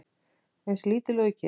Eins lítil og ég get.